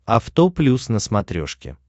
авто плюс на смотрешке